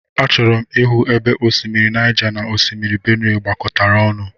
Achọrọ m ịhụ ebe osimiri Naija na Osimiri Benuwe gbakọtara ọnụ.